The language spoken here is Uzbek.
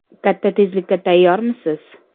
Katta tezlikka tayyormisiz?